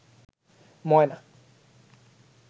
ময়না